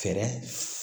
Fɛɛrɛ